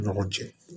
Ni ɲɔgɔn cɛ